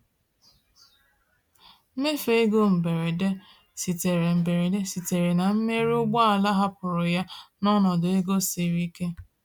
Mmefu ego mberede sitere mberede sitere na mmerụ ụgbọala hapụrụ ya n’ọnọdụ ego siri ike.